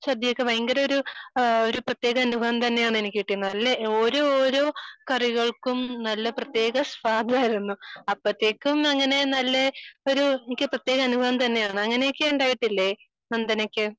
സദ്യയൊക്കെ ഭയങ്കര ഒരു ഒരു പ്രത്യേക അനുഭവം തന്നെയാണ് എനിക്ക് കിട്ടിയിട്ടുള്ളത് ഓരോരോ കറികൾക്കും നല്ല പ്രത്യേക സ്വാദു ആയിരുന്നു . അപ്പോഴേക്കും അങ്ങനെ നല്ല ഒരു എനിക്ക് പ്രത്യേക അനുഭവം തന്നെയാണ് ഉണ്ടായിട്ടില്ല നന്ദനക്ക്